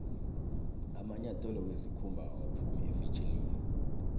amanyathelo wesikhumba akaphumi efetjhinini